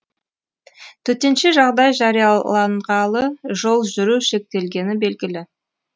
төтенше жағдай жарияланғалы жол жүру шектелгені белгілі